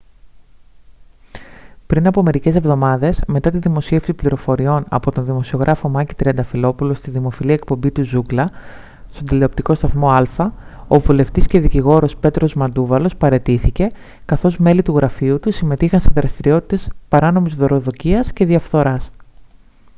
πριν από μερικές εβδομάδες μετά τη δημοσίευση πληροφοριών από τον δημοσιογράφο μάκη τριανταφυλόπουλο στη δημοφιλή εκπομπή του «ζούγκλα» στον τηλεοπτικό σταθμό άλφα ο βουλευτής και δικηγόρος πέτρος μαντούβαλος παραιτήθηκε καθώς μέλη του γραφείου του συμμετείχαν σε δραστηριότητες παράνομης δωροδοκίας και διαφθοράς